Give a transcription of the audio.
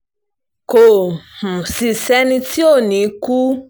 kò um sì sẹ́ni tí ò ní í kú